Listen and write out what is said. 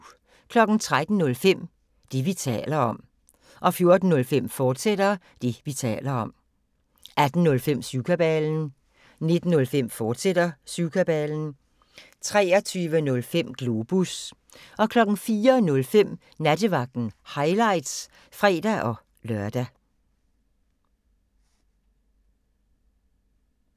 13:05: Det, vi taler om 14:05: Det, vi taler om, fortsat 18:05: Syvkabalen 19:05: Syvkabalen, fortsat 23:05: Globus 04:05: Nattevagten – highlights (fre-lør)